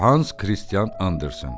Hans Kristian Anderson.